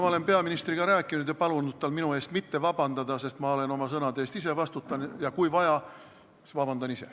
Ma olen peaministriga rääkinud ja palunud, et ta minu eest ei vabandaks, sest oma sõnade eest vastutan ma ise ja kui vaja, siis ka vabandan ise.